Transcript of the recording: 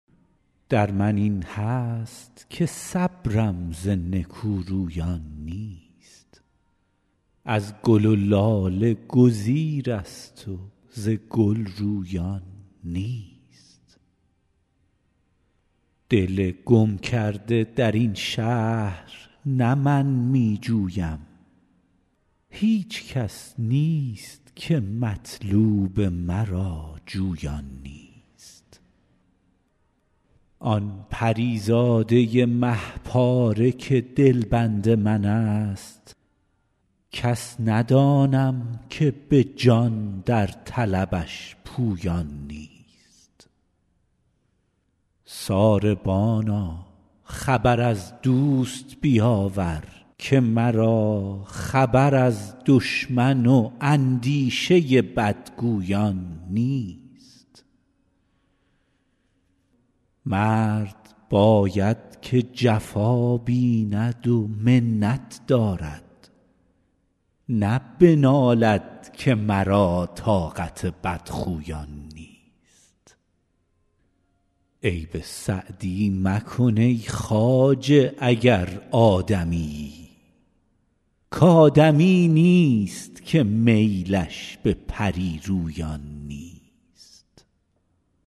در من این هست که صبرم ز نکورویان نیست از گل و لاله گزیرست و ز گل رویان نیست دل گم کرده در این شهر نه من می جویم هیچ کس نیست که مطلوب مرا جویان نیست آن پری زاده مه پاره که دلبند من ست کس ندانم که به جان در طلبش پویان نیست ساربانا خبر از دوست بیاور که مرا خبر از دشمن و اندیشه بدگویان نیست مرد باید که جفا بیند و منت دارد نه بنالد که مرا طاقت بدخویان نیست عیب سعدی مکن ای خواجه اگر آدمیی کآدمی نیست که میلش به پری رویان نیست